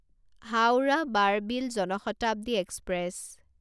Howrah Barbil Jan Shatabdi express